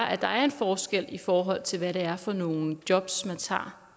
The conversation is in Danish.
at der er en forskel i forhold til hvad det er for nogle jobs man tager